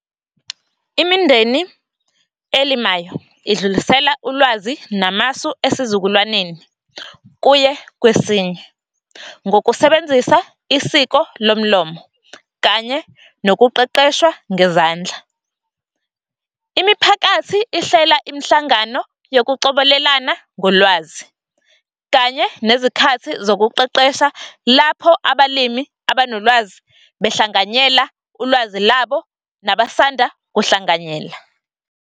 Imindeni elimayo idlulisela ulwazi namasu esizukulwaneni kuye kwesinye ngokusebenzisa isiko lomlomo kanye nokuqeqeshwa ngezandla. Imiphakathi ihlela imihlangano yokucobelelana ngolwazi kanye nezikhathi zokuqeqesha, lapho abalimi abanolwazi behlanganyela ulwazi labo nabasanda ukuhlanganyela.